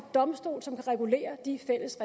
domstol som kan regulere de fælles